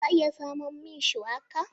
Za a iya samun min shuwaka?